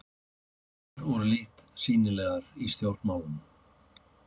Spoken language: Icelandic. Konur voru lítt sýnilegar í stjórnmálum.